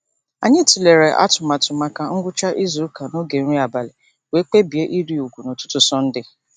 Anyị tụlere atụmatụ maka ngwụcha izuụka n'oge nri abalị wee kpebie ịrị ugwu n'ụtụtụ Sọnde.